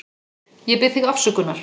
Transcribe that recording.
Ég bið þig afsökunar.